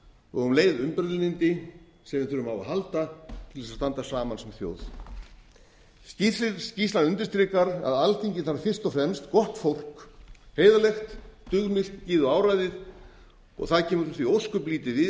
og um leið umburðarlyndi sem við þurfum á að halda til þess að standa saman sem þjóð skýrslan undirstrika að alþingi þarf fyrst og fremst gott fólk heiðarlegt dugmikið og áræðið og það kemur því ósköp lítið við